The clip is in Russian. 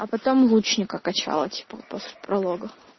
а потом лучника качала типа после пролога